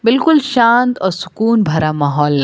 बिल्कुल शांत और सुकून भरा माहौल लग--